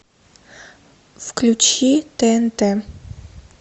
включи тнт